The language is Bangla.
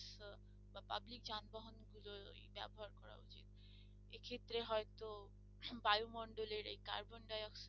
এক্ষেত্রে হয়তো বায়ু মন্ডলের এই কার্বন ডাই অক্সাইড